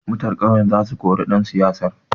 Mutan ƙauyan za su kore ɗan siyasar.